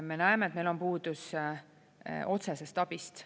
Me näeme, et meil on puudus otsesest abist.